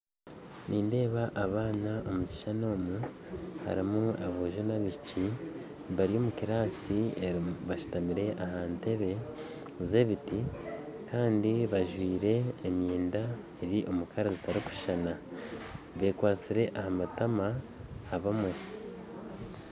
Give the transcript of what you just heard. Nindeeba abaana omu kishishani omu harimu aboojo na abaishiki bari omu kiraasi bashutamire ahantebe eza ebiti kandi bajwaire emyenda eri omu rangi zitarikushishana bekwatsire aha matama bamwe